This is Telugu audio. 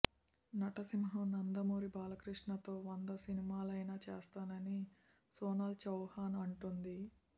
నటసింహం నందమూరి బాలకృష్ణతో వంద సినిమాలైనా చేస్తానని సోనాల్ చౌహన్ అంటోంది